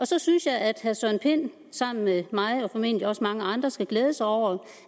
så synes jeg at herre søren pind sammen med mig og formentlig også mange andre skulle glæde sig over